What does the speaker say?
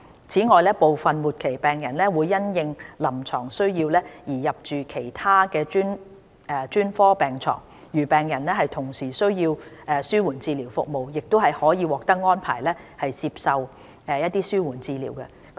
此外，部分末期病人會因應臨床需要而入住其他專科病床，如病人同時需要紓緩治療服務，亦可獲安排接受紓緩治療。